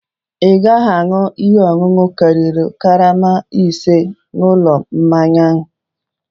Ị gaghị aṅụ ihe ọṅụṅụ karịrị karama ise n'ụlọ mmanya a!